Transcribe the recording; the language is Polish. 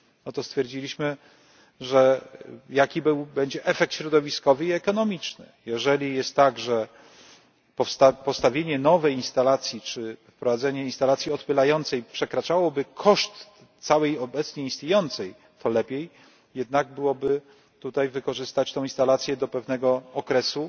No to stwierdziliśmy, że jaki będzie efekt środowiskowy i ekonomiczny, jeżeli jest tak, że postawienie nowej instalacji czy wprowadzenie instalacji odpylającej przekraczałoby koszt całej obecnie istniejącej, to lepiej jednak byłoby tutaj wykorzystać tą instalację do pewnego okresu